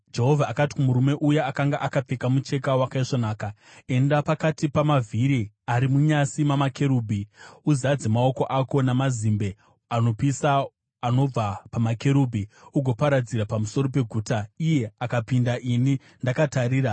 Jehovha akati kumurume uya akanga akapfeka mucheka wakaisvonaka, “Enda pakati pamavhiri ari munyasi mamakerubhi. Uzadze maoko ako namazimbe anopisa anobva pamakerubhi ugoaparadzira pamusoro peguta.” Iye akapinda ini ndakatarira.